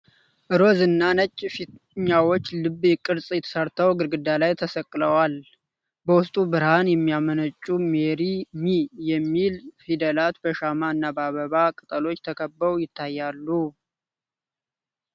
ሮዝ እና ነጭ ፊኛዎች ልብ ቅርፅ ሰርተው ግድግዳ ላይ ተሰቅለዋል። በውስጡም ብርሃን የሚያመነጩት "ሜሪ ሚ" የሚሉ ፊደላት በሻማ እና በአበባ ቅጠሎች ተከበው ይታያሉ።